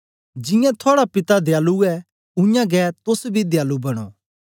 जियां थुआड़ा पिता दयालु ऐ उयांगै तोस बी दयालु बनो